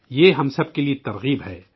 یہ ہم سب کو بھی تحریک دیتی ہے